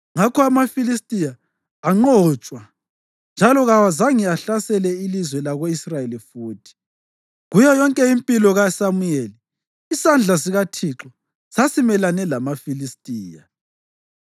Ngakho amaFilistiya anqotshwa njalo kawazange ahlasele ilizwe lako-Israyeli futhi. Kuyo yonke impilo kaSamuyeli, isandla sikaThixo sasimelane lamaFilistiya.